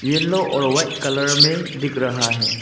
Yellow और white colour में दिख रहा है।